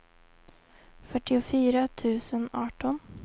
fyrtiofyra tusen arton